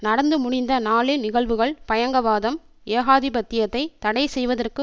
நடந்து முடிந்த நாளின் நிகழ்வுகள் பயங்கவாதம் ஏகாதிபத்தியத்தை தடை செய்வதற்கு